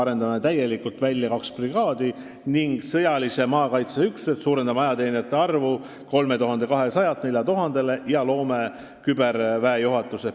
Arendame täielikult välja kaks brigaadi ning sõjalise maakaitse üksused, suurendame ajateenijate arvu 3200-lt 4000-le ja loome küberväejuhatuse.